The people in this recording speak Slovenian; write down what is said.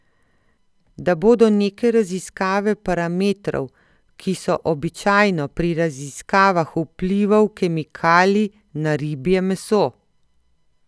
Da bodo neke raziskave parametrov, ki so običajno pri raziskavah vplivov kemikalij na ribje meso.